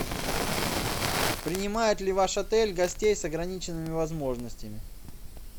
принимает ли ваш отель гостей с ограниченными возможностями